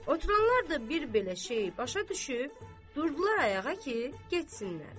Oturanlar da bir belə şeyi başa düşüb, durdular ayağa ki, getsinlər.